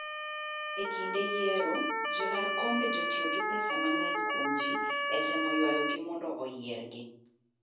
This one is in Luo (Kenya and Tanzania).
E kinde yiero, jolar kombe jatiyo gi pesa mang'eny kwom ji etemo ywayogi mondo oyiergi.